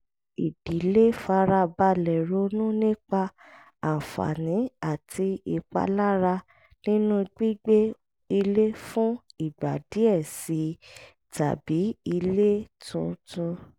ìdílé fara balẹ̀ ronú nípa àǹfààní àti ìpalára nínú gbígbé ilé fún ìgbà díẹ̀ sí i tàbí ilé tuntun